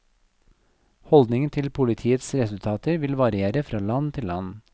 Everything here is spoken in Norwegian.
Holdningen til politiets resultater vil variere fra land til land.